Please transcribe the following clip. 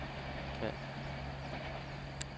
kald